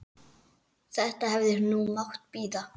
Þetta hefði nú mátt bíða.